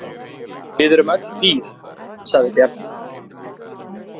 Við erum öll dýr, sagði Bjarni.